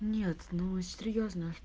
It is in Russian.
нет ну серьёзно